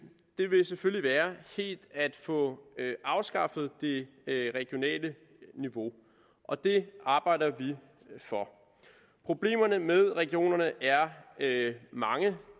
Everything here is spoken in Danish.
ville selvfølgelig være helt at få afskaffet det regionale niveau og det arbejder vi for problemerne med regionerne er mange